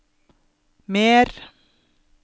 mer